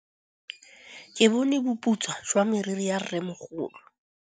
Ke bone boputswa jwa meriri ya rrêmogolo.